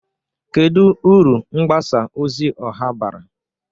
Kedu uru mgbasa ozi ọha bara?